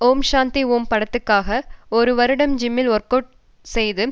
ஓம் சாந்தி ஓம் படத்துக்காக ஒரு வருடம் ஜிம்மில் ஒர்க் அவுட் செய்து